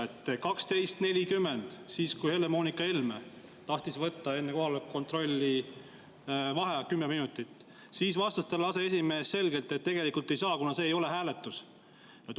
Kell 12.40, kui Helle‑Moonika Helme tahtis võtta enne kohaloleku kontrolli vaheaega kümme minutit, siis vastas talle aseesimees selgelt, et ei saa, kuna see ei ole hääletus.